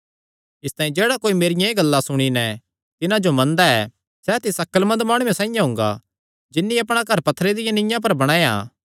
इसतांई जेह्ड़ा कोई मेरियां एह़ गल्लां सुणी नैं तिन्हां जो मनदा ऐ सैह़ तिस अक्लमंद माणुये साइआं हुंगा जिन्नी अपणा घर पत्थरे दिया नीआं पर बणाया